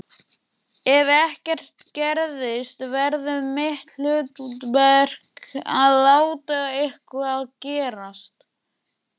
Ef ekkert gerist verður mitt hlutverk að láta eitthvað gerast.